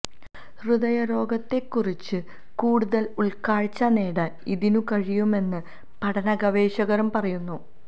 ഹൃദയാരോഗ്യത്തെക്കുറിച്ച് കൂടുതൽ ഉൾക്കാഴ്ച നേടാൻ ഇതിനു കഴിയുമെന്ന് പഠന ഗവേഷകരും പറയുന്നു